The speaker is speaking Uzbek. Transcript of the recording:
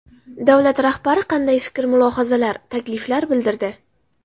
Davlat rahbari qanday fikr-mulohazalar, takliflar bildirdi?